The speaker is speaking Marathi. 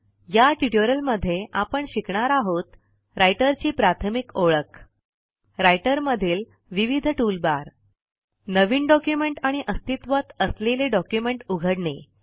या ट्युटोरियलमध्ये आपण शिकणार आहोत राइटर ची प्राथमिक ओळख रायटर मधील विविध टूलबार नवीन डॉक्युमेंट आणि अस्तित्वात असलेले डॉक्युमेंट उघडणे